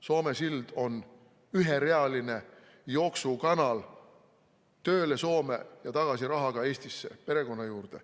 Soome sild on üherealine jooksukanal tööle Soome ja tagasi rahaga Eestisse perekonna juurde.